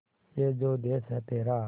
ये जो देस है तेरा